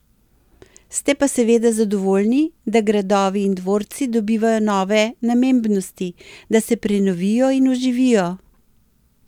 Ste pa seveda zadovoljni, da gradovi in dvorci dobivajo nove namembnosti, da se prenovijo in oživijo?